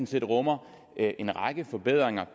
set rummer en række forbedringer